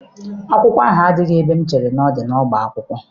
Akwụkwọ ahụ adịghị n'ebe m chere na ọ dị n'ọbá akwụkwọ.